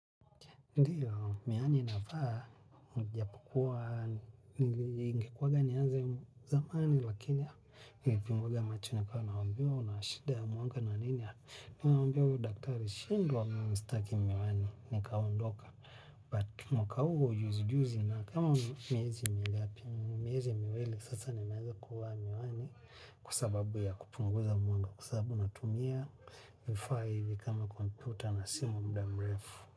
Ndiyo, miani nafaa, nijapokua, ninge kuwanga nianze zamani, lakini ya, nilipunguza mwanga macho, nilikuwa naambiwa, unashida ya mwanga na nini ya. Naambia, mimi huyo daktari. Shindwa mimi sitaki miwani, nikaondoka. But mwaka huu juzi juzi nina kama miezi mingapi nina miezi miwili sasa ninaanza kuvaa miwani kwasababu ya kupunguza mwanga kwa sababu natumia vifaa hivi kama kompyuta na simu kwa muda mrefu.